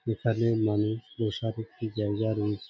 এখানে মানুষ বসার একটি জায়গা রয়েছে ।